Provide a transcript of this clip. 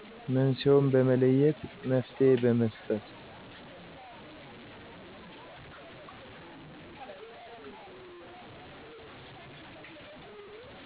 መንስኤዉን በመለየት መፍትሄ በመስጠት።